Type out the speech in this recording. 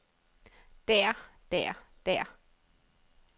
der der der